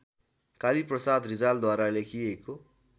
कालीप्रसाद रिजालद्वारा लेखिएको